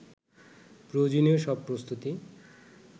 প্রয়োজনীয় সব প্রস্তুতি